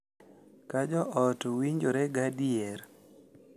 Ka jo ot winjore gadier, .